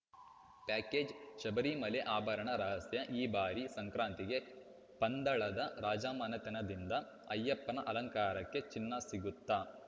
package Sabarimala ಆಭರಣ ರಹಸ್ಯ ಈ ಬಾರಿ ಸಂಕ್ರಾಂತಿಗೆ ಪಂದಳದ ರಾಜಮನೆತನದಿಂದ ಅಯ್ಯಪ್ಪನ ಅಲಂಕಾರಕ್ಕೆ ಚಿನ್ನ ಸಿಗುತ್ತಾ